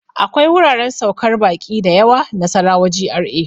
akwai wuraren saukar baƙi da yawa Nasarawa GRA.